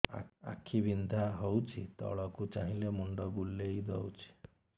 ଆଖି ବିନ୍ଧା ହଉଚି ତଳକୁ ଚାହିଁଲେ ମୁଣ୍ଡ ବୁଲେଇ ଦଉଛି